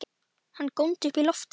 Hann góndi upp í loftið!